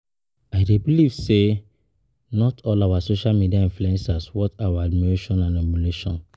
I dey believe say not all social media influencers worth our admiration and emulation.